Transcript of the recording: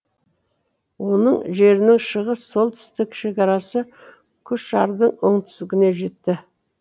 оның жерінің шығыс солтүстік шекарасы күшардың оңтүстігіне жетті